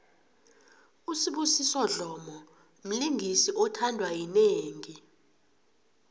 usibusiso dlomo mlingisi othandwa yinengi